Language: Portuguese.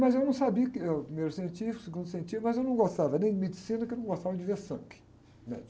Mas eu não sabia o que eu, primeiro científico, segundo científico, mas eu não gostava nem de medicina, porque eu não gostava de ver sangue